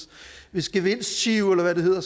hvis gevinstgiro eller hvad det hedder